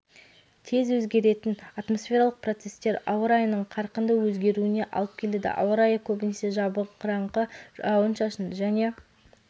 тез өзгеретін атмосфералық процесстер ауа райының қарқынды өзгеруіне алып келеді ауа райы көбінесе жабырқаңқы жауын-шашынды және